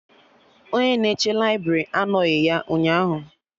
Onye na-echekwa laibrị anoghi ya ụnyaahụ